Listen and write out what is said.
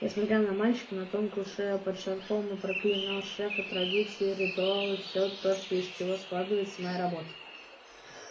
я смотрел на мальчика на тонкую шею под шарфом и проклинал шефа традиции ритуалы все то из чего складывалась моя работа